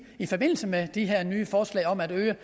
i forbindelse med de her nye forslag om at øge